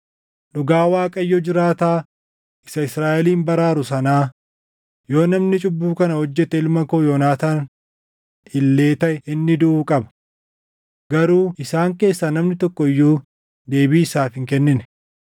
Dhugaa Waaqayyo jiraataa isa Israaʼelin baraaru sanaa, yoo namni cubbuu kana hojjete ilma koo Yoonaataan illee taʼe inni duʼuu qaba.” Garuu isaan keessaa namni tokko iyyuu deebii isaaf hin kennine.